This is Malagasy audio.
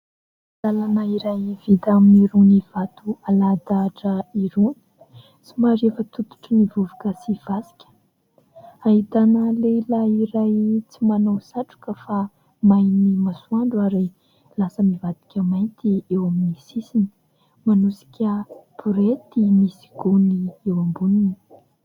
Lalana iray vita amin'irony vato alahadahatra irony, somary efa tototrin'ny vovoka sy fasika, ahitana lehilahy iray tsy manao satroka fa main'ny masoandro ary lasa mivadika mainty eo amin'ny sisiny, manosika borety misy gony eo amboniny.